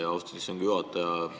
Aitäh, austatud istungi juhataja!